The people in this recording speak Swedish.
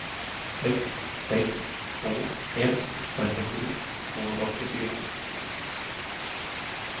sex sex två ett trettiosju tvåhundraåttiofyra